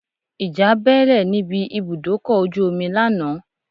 Ìjà bẹ́ẹ́lẹ̀ níbi ibùdókọ̀ ojú omi lánàá